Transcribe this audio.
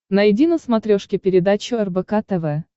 найди на смотрешке передачу рбк тв